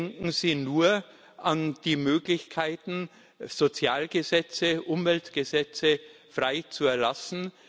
Denken Sie nur an die Möglichkeiten, Sozialgesetze, Umweltgesetze frei zu erlassen.